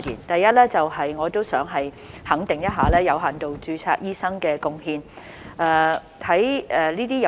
第一，我想肯定有限度註冊醫生的貢獻。